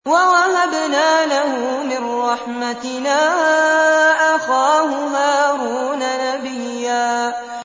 وَوَهَبْنَا لَهُ مِن رَّحْمَتِنَا أَخَاهُ هَارُونَ نَبِيًّا